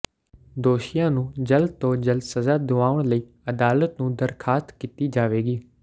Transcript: ਦੋਸ਼ੀਆਂ ਨੂੰ ਜਲਦ ਤੋਂ ਜਲਦ ਸਜ਼ਾ ਦੁਆਉਣ ਲਈ ਅਦਾਲਤ ਨੂੰ ਦਰਖਾਸਤ ਕੀਤੀ ਜਾਵੇਗੀ